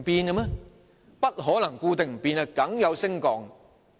人口不可能固定不變，一定會有所升降。